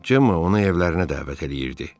Cemma ona evlərinə dəvət eləyirdi.